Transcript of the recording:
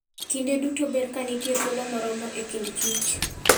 Kinde duto ber ka nitie thuolo moromo e kind kich .